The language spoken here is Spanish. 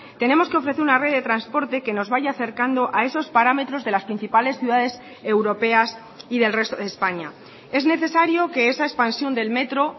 tenemos que ofrecer una red de transporte que nos vaya acercando a esos parámetros de las principales ciudades europeas y del resto de españa es necesario que esa expansión del metro